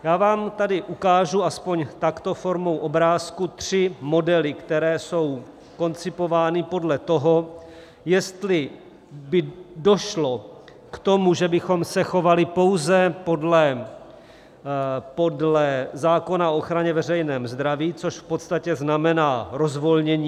Já vám tady ukážu aspoň takto formou obrázků tři modely, které jsou koncipovány podle toho, jestli by došlo k tomu, že bychom se chovali pouze podle zákona o ochraně veřejného zdraví, což v podstatě znamená rozvolnění.